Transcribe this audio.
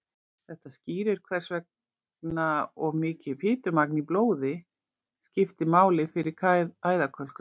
þetta skýrir hvers vegna of mikið fitumagn í blóði skiptir máli fyrir æðakölkun